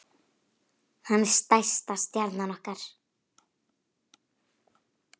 Hann er stærsta stjarna okkar.